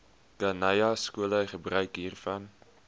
khanyaskole gebruik hiervan